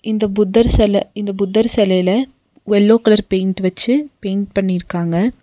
இந்த புத்தர் செல இந்த புத்தர் செலைல எல்லோ கலர் பெயிண்ட் வெச்சி பெயிண்ட் பண்ணிருக்காங்க.